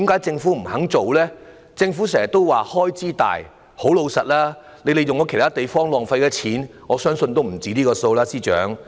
政府經常說涉及龐大開支，但司長，老實說，政府在其他地方所浪費的金錢，我相信也不止這個數目。